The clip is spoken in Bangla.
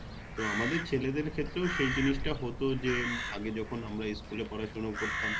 তো আমাদের ছহেলেদের ক্ষেত্রেও সে জিনিস টা হত যে উম আগে যখন আমরা School এ পড়াশুনা করতাম